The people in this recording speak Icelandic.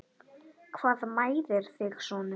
Hvað mæðir þig sonur?